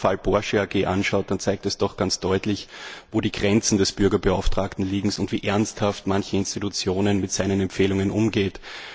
Wenn man sich den Fall Porsche AG anschaut, dann zeigt der doch ganz deutlich, wo die Grenzen des Bürgerbeauftragten liegen und wie ernsthaft manche Institutionen mit seinen Empfehlungen umgehen.